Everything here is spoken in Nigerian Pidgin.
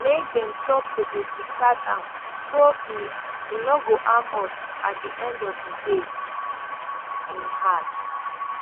make dem stop to dey discard am so e e no go harm us at di end of di day im add